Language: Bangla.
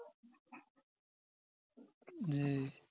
জি